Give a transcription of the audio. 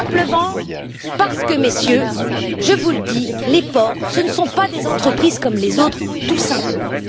Tout simplement parce que, Messieurs, je vous le dis, les ports, ce ne sont pas des entreprises comme les autres, tout simplement.